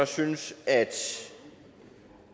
synes at